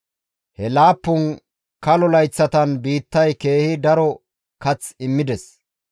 He laappun kalo layththatan biittay keehi daro kath immides.